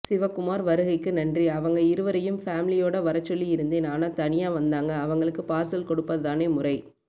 சிவகுமார் வருகைக்கு நன்றி அவங்க இருவரையும் ஃபேமிலியோட வரச்சொல்லி இருந்தேன் ஆனா தனியா வந்தாங்க அவங்களுக்கு பார்சல் கொடுப்பதுதானே முறை